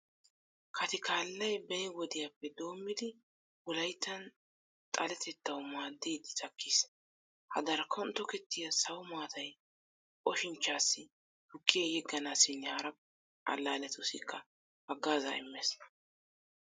Katikallay beni wodiyappe doommidi wolayttan xaletettawu maaddiiddi takkiis. Ha darkkon tokettiya sawo maatay oshinchchaassi, tukkiyan yegganaassinne hara allaalletussikka haggaazaa immees.